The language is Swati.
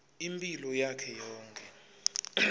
imphilo yakhe yonkhe